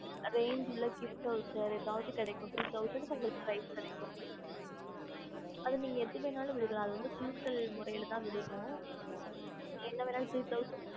range gift Wowcher உங்களுக்கு கிடக்கும் three thousand prize அதாவது உங்களுக்கு எதுவெனலும் கிடக்கும்